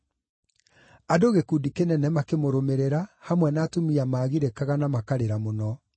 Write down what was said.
Andũ gĩkundi kĩnene makĩmũrũmĩrĩra, hamwe na atumia maagirĩkaga na makarĩra mũno.